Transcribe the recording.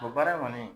O baara in kɔni